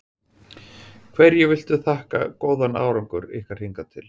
Hverju viltu þakka góðan árangur ykkar hingað til?